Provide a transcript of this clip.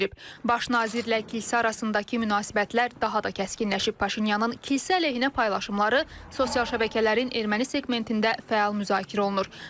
Baş nazirlə kilsə arasındakı münasibətlər daha da kəskinləşib, Paşinyanın kilsə əleyhinə paylaşımları sosial şəbəkələrin erməni seqmentində fəal müzakirə olunur.